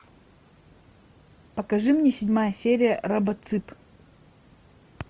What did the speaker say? покажи мне седьмая серия робоцып